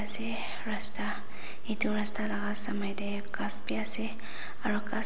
ase rasta edu rasta la samae tae ghas bi ase aro ghas--